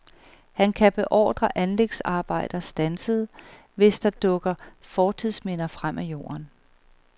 Han kan beordre anlægsarbejder standset, hvis der dukker fortidsminder frem af jorden.